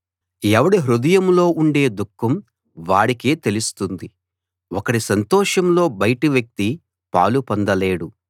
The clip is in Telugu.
ఎవడి హృదయంలో ఉండే దుఃఖం వాడికే తెలుస్తుంది ఒకడి సంతోషంలో బయటి వ్యక్తి పాలు పొందలేడు